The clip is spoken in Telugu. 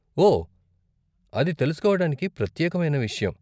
ఓ, అది తెలుసుకోడానికి ప్రత్యేకమైన విషయం.